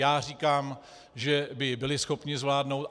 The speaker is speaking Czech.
Já říkám, že by byli schopni zvládnout.